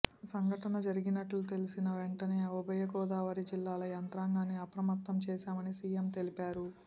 సంఘటన జరిగినట్లు తెల్సిన వెంటనే ఉభయగోదావరి జిల్లాల యంత్రాంగాన్ని అప్రమత్తం చేశామని సీఎం తెలిపారు